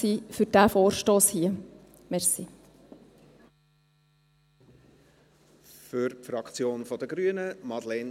Dies kann für den vorliegenden Vorstoss kein Killerargument sein.